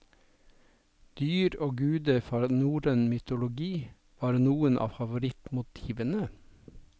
Dyr og guder fra norrøn mytologi var noen av favorittmotivene.